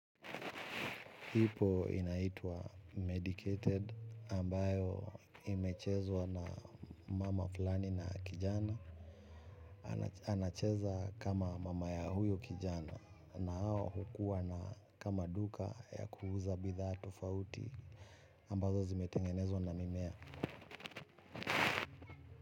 Ipo inaitwa 'medicated' ambayo imechezwa na mama fulani na kijana. Anacheza kama mama ya huyo kijana na hawa hukua na kama duka ya kuuza bidhaa tofauti ambazo zimetengenezwa na mimea.